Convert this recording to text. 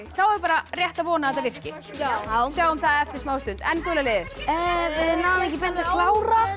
þá er bara rétt að vona að þetta virki sjáum það eftir smá stund en gula liðið við náðum ekki beint að klára